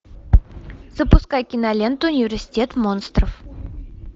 запускай киноленту университет монстров